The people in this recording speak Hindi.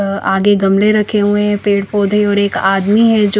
अ आगे गमले रखें हुए पेड़ पौधे और एक आदमी है जो--